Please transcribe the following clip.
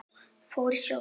Fór í sjó.